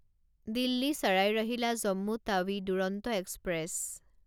দিল্লী ছাৰাই ৰহিলা জম্মু টাৱি দুৰন্ত এক্সপ্ৰেছ